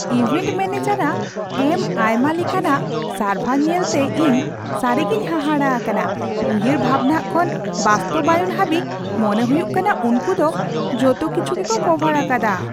Event manager ᱟᱜ ᱮᱢ ᱟᱭᱢᱟ ᱞᱮᱠᱟᱱᱟᱜ ᱥᱟᱨᱵᱷᱟᱨ ᱧᱮᱞᱛᱮ ᱤᱧ ᱥᱟᱹᱨᱤᱜᱮᱧ ᱦᱟᱦᱟᱲᱟ ᱟᱠᱟᱱᱟ ᱼ ᱩᱭᱦᱟᱹᱨ ᱵᱷᱟᱵᱽᱱᱟ ᱠᱷᱚᱱ ᱵᱟᱥᱛᱚᱵᱟᱭᱚᱱ ᱦᱟᱹᱵᱤᱡ, ᱢᱚᱱᱮ ᱦᱩᱭᱩᱜ ᱠᱟᱱᱟ ᱩᱱᱠᱩ ᱫᱚ ᱡᱚᱛᱚ ᱠᱤᱪᱷᱩ ᱜᱮᱠᱚ ᱠᱚᱵᱷᱟᱨ ᱟᱠᱟᱫᱟ !